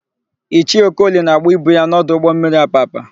Ichie Okoli na-agba ibu ya n'ọdụ ụgbọmmiri Apapa.